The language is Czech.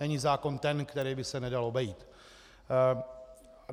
Není zákon ten, který by se nedal obejít.